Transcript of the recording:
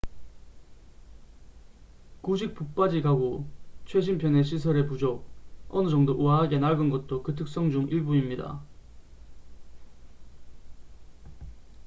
구식 붙박이 가구 최신 편의 시설의 부족 어느 정도 우아하게 낡은 것도 그 특성 중 일부입니다